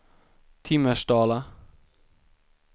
Timmersdala